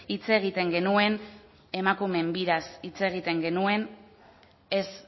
hitz egiten genuen emakumeen biraz hitz egiten genuen ez